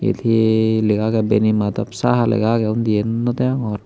eote he legaagaday bani madop saha legaagay undi eane no dagogor.